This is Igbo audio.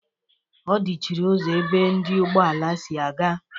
Ọ dichiri ụzọ ebe ndị ugbọala si-aga?.